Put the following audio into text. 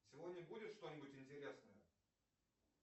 сегодня будет что нибудь интересное